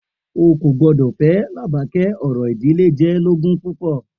O kò gbọdọ̀ fẹ́ Làbàkẹ́, orò ìdílé jẹ́ lógún púpọ̀.